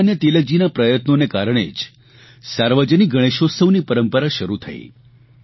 લોકમાન્ય તિલકજીના પ્રયત્નોના કારણે જ સાર્વજનિક ગણેશઉત્સવની પરંપરા શરૂ થઇ